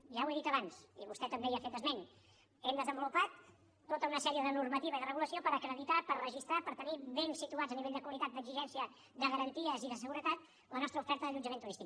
ja ho he dit abans i vostè també hi ha fet esment hem desenvolupat tota una sèrie de normativa i de regulació per acreditar per registrar per tenir ben situada a nivell de qualitat d’exigència de garanties i de seguretat la nostra oferta d’allotjament turístic